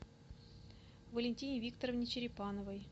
валентине викторовне черепановой